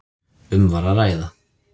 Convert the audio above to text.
Um var að ræða